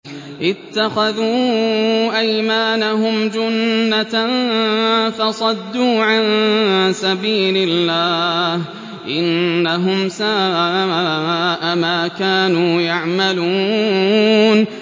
اتَّخَذُوا أَيْمَانَهُمْ جُنَّةً فَصَدُّوا عَن سَبِيلِ اللَّهِ ۚ إِنَّهُمْ سَاءَ مَا كَانُوا يَعْمَلُونَ